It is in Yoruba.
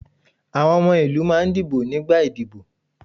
Àwọn ọmọ ìlú máà ń dìbò nígbà ìdíbò.